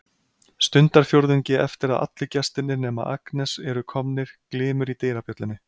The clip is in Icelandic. Stundarfjórðungi eftir að allir gestirnir nema Agnes eru komnir glymur í dyrabjöllunni.